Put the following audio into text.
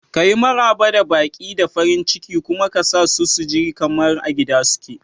Kayi Maraba da baƙi da farin ciki kuma ka sa su ji kamar a gida suke.